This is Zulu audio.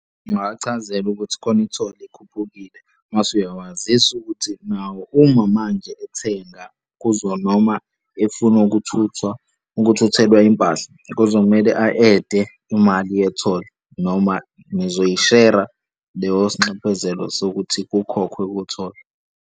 Ungawachazela ukuthi khona i-toll ekhuphukile. Mase uyawazisa ukuthi nawo uma manje ethenga kuzo, noma efuna ukuthuthelwa impahla kuzomele a-ede imali ye-toll noma nizoyi share-a leyo s'nxephezelo sokuthi kukhokhwe kwi-toll.